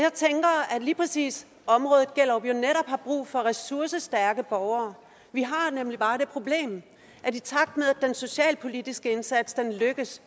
lige præcis området gellerup jo netop har brug for ressourcestærke borgere vi har nemlig bare det problem at i takt med at den socialpolitiske indsats lykkes